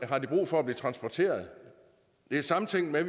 har de brug for at blive transporteret det er samtænkt med